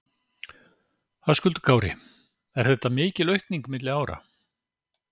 Höskuldur Kári: Er þetta mikil aukning milli ára?